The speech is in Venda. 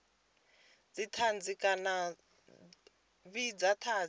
dzithanzi kana a vhidza thanzi